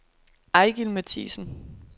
Eigil Matthiesen